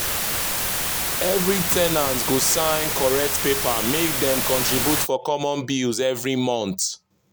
every ten ant go sign correct paper make dem contribute for common bills every month.